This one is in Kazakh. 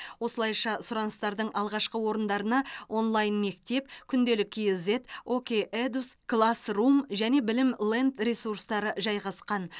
осылайша сұраныстардың алғашқы орындарына онлайн мектеп күнделік кз оке едус классрум және білім ленд ресурстары жайғасқан